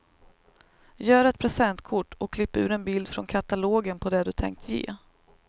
Gör ett presentkort och klipp ur en bild från katalogen på det du tänkt ge.